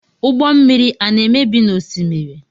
Ụgbọ mmiri ana emebi n'osimiri?